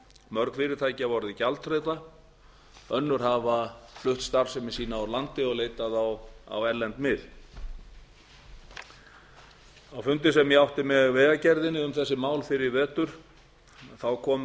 mörg fyrirtæki hafa orðið gjaldþrota önnur hafa flutt starfsemi sína úr landi og leitað á erlend mið á fundi sem ég átti með vegagerðinni um þessi mál fyrr í vetur komu